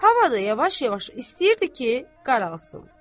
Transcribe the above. Hava da yavaş-yavaş istəyirdi ki, qaralsın.